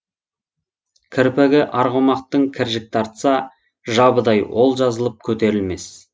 кірпігі арғымактың кіржік тартса жабыдай ол жазылып көтерілмес